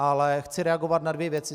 Ale chci reagovat na dvě věci.